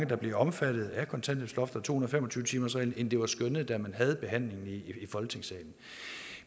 der bliver omfattet af kontanthjælpsloftet og to hundrede og fem og tyve timersreglen end det var skønnet da man havde behandlingen i folketingssalen